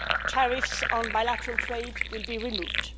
Tariffs on bilateral trade will be removed.